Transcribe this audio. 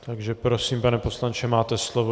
Takže prosím, pane poslanče, máte slovo.